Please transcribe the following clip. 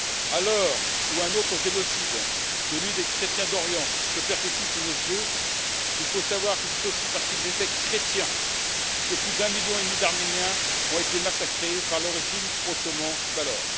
À l'heure où un autre génocide celui des chrétiens d'Orient est perpétré sous nos yeux, il faut savoir que c'est aussi parce qu'ils étaient chrétiens que plus d'un million et demi d'Arméniens ont été massacrés par le régime ottoman d'alors.